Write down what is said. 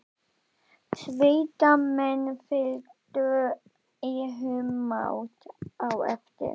Sveitamenn fylgdu í humátt á eftir.